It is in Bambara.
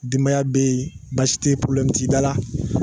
Denbaya bɛ yen baasi tɛ yen t'i dala